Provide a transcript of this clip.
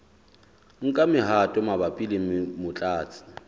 nka mehato mabapi le motlatsi